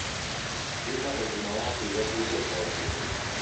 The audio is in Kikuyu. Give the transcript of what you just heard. Thima ũgima wa higo hĩndĩ o hĩndĩ